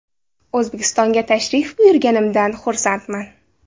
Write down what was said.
O‘zbekistonga tashrif buyurganimdan xursandman.